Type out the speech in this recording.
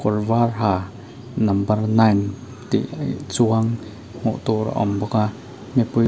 kawr var ha number nine tih chuang hmuh tur a awm bawk a mipui--